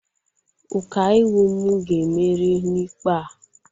Ụkaiwu m ga-emeri n'ikpe a.